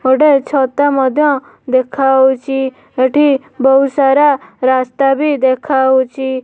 ଗୋଟେ ଛତା ମଧ୍ୟ ଦେଖାହୋଉଚି ଏଠି ବୋହୁତ୍ ସାରା ରାସ୍ତା ବି ଦେଖାହୋଉଚି ।